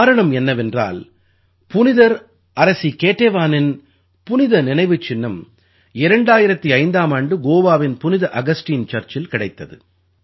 காரணம் என்னவென்றால் புனிதர் அரசி கேடேவானின் புனித நினைவுச் சின்னம் 2005ஆம் ஆண்டு கோவாவின் புனித அகஸ்டீன் சர்ச்சில் கிடைத்தது